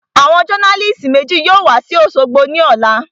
Àwọn jọ́nálìsì méjì yóò wa sí òṣogbo ní ọ̀la